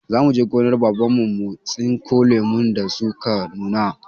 Za mu je gonar Baban mu mu tsinko lumun da su ka nuna.